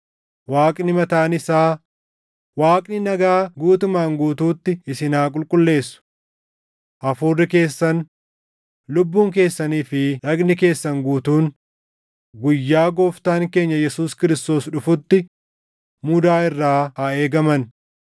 Waaqni mataan isaa, Waaqni nagaa guutumaan guutuutti isin haa qulqulleessu. Hafuurri keessan, lubbuun keessanii fi dhagni keessan guutuun guyyaa Gooftaan keenya Yesuus Kiristoos dhufutti mudaa irraa haa eegaman.